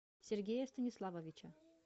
сергея станиславовича